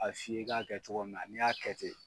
A fiyɛ i k'a kɛ cogo min na n' y'a kɛ ten.